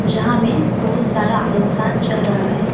यहां में बहुत सारा इंसान चल रहा है।